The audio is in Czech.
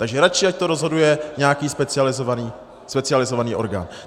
Takže raději ať to rozhoduje nějaký specializovaný orgán.